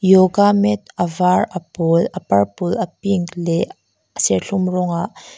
yoga mat a var a pâwl a purple a pink leh a serthlum rawng ah--